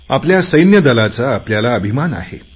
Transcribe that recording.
आपल्या सैन्यदलाचा आपल्याला अभिमान आहे